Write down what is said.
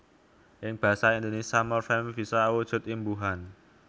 Ing basa Indonésia morfem bisa awujud imbuhan